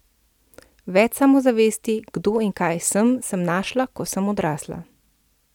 Več samozavesti, kdo in kaj sem, sem našla, ko sem odrasla.